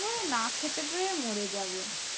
একেবারে না খেতে পেয়ে মোর যাবে।